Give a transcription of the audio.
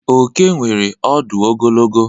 Oke nwere ọdụ ogologo.